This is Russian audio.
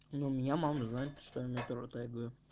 ну меня мама знает что я метро тегаю